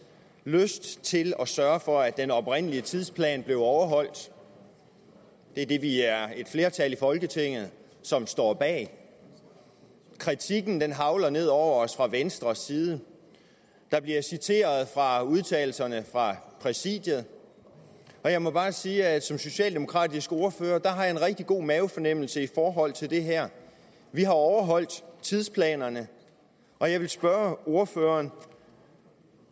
lyst til at sørge for at den oprindelige tidsplan blev overholdt det er det vi er et flertal i folketinget som står bag kritikken hagler ned over os fra venstres side der bliver citeret fra udtalelserne fra præsidiet og jeg må bare sige at som socialdemokratisk ordfører har jeg en rigtig god mavefornemmelse i forhold til det her vi har overholdt tidsplanerne og jeg vil spørge ordføreren